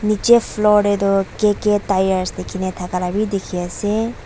Nechi floor dae tuh KK Tyres lekhina thaka la bhi dekhe ase.